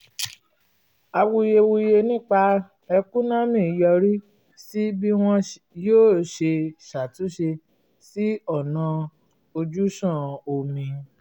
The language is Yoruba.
awuyewuye nípa ẹ̀kúnomi yọrí sí bí wọn yóò ṣe ṣàtúnṣe sí ọ̀nà ojúsàn omi